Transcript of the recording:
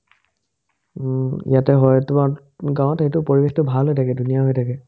উম্, ইয়াতে হয় গাৱত এই পৰিবেশটো ভাল হৈ থাকে ধুনীয়া হৈ থাকে